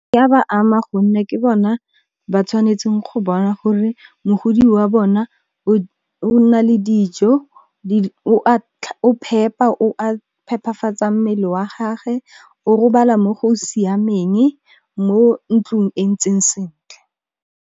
E ya ba ama gonne ke bona ba tshwanetseng go bona gore mogodi wa bona, o na le dijo, o phepa, o phepafatsa mmele wa gage, o robala mo go siameng, mo ntlong e ntseng sentle.